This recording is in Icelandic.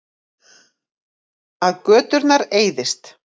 Að göturnar eyðist.